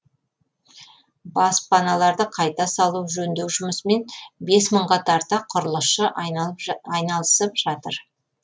баспаналарды қайта салу жөндеу жұмысымен бес мыңға тарта құрылысшы айналысып жатыр